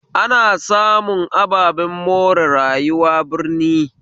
Ana samun ababen more rayuwa birni